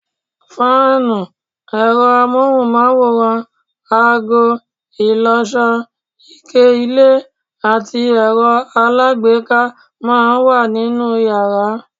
Fáànù, ẹ̀rọ amóhùnmáwòrán, ago, ìlọṣọ, ike ilẹ̀ àti ẹ̀rọ alágbèéká máa ń wà nínú yàrá